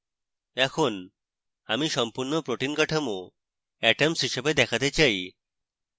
এখন আমি সম্পূর্ণ protein কাঠামো atoms হিসাবে দেখাতে চাই